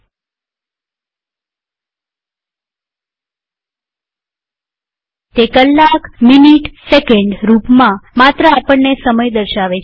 000559 000504 તે કલાકમિનીટસેકંડ રૂપમાં માત્ર આપણને સમય દર્શાવે છે